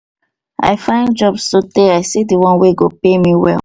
i find job sotee i see di one wey go pay me well.